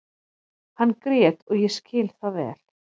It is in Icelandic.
Hann grét og ég skil það vel.